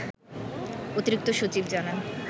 অতিরিক্ত সচিব জানান